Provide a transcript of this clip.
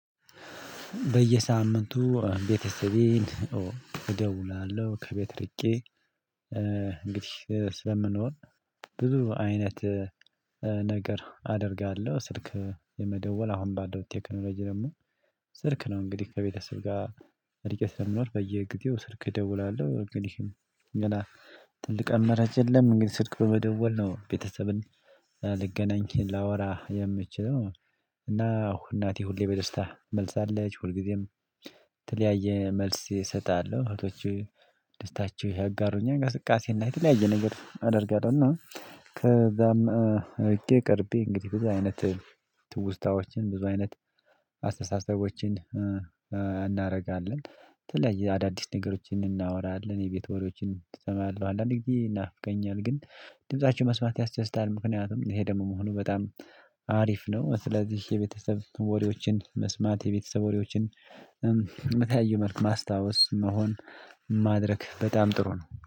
በየሳምንቱ ቤተሰቤን እደውላለሁ ከቤት ርቄ ስለምንሮር ብዙ አይነት ነገር አደርጋለሁ። ስልክ የመደወል አሁን ባለው ቴክኖሎጂ ደግሞ ስልክ ነው። እንግዲህ ከቤተሰብ ጋር እርቄ ስለምኖር በየጊዜው ስልክ እደውላለሁ። ግን ይህን ሌላ ትልቅ አላራጭ የለም። እንግዲህ ስልክ በመደወል ነው ቤተሰብን ልገናኝ ላወራ የምችለው። እና እናቴ ሁሌ በደስታ መልሳለች ሁልጊዜም የተለያየ መልስ እሰጣለሁ እህቶች ደስታችሁ ያጋሩኛል እንቅስቃሴና የተለያየ ነገር አደርጋለሁ። እና ከዛም እርቄ ቀርቤ እንግዲህ ቡዙ አይነት ትውስታዎችን ብዙ አይነት አስተሳሰቦችን እናደርጋለን። በተለይ አዳዲስ ነገሮችን እናወራለን የቤትወሪዎችን እሰማለሁ። አንዳንድ ጊዜ ይናፍቀኛል። ግን ድምፃቸው መስማት ያስደስታል። ምክንያቱም ይሄ ደግሞ መሆኑ በጣም አሪፍ ነው። ስለዚህ የቤተሰብ ወሬዎችን መስማት የቤተሰብ ወሬዎችን የተያዩ መልኩ ማስታወስ መሆን ማድረግ በጣም ጥሩ ነው